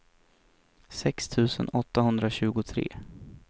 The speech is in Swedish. sex tusen åttahundratjugotre